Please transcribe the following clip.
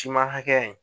Siman hakɛya in